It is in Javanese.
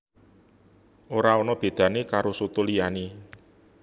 Ora ana bedané karo soto liyané